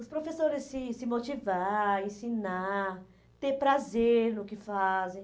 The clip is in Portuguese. Os professores se se motivar, ensinar, ter prazer no que fazem.